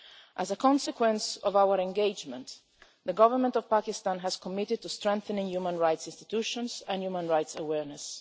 As a consequence of our engagement, the government of Pakistan has committed to strengthening human rights institutions and human rights awareness.